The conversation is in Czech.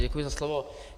Děkuji za slovo.